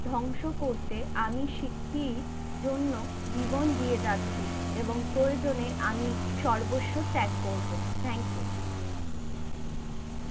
ধ্বংস করতে আমি শিখি জন্য জীবন দিয়ে যাচ্ছি এবং প্রয়োজনে আমি সর্বস্ব ত্যাগ করব thank you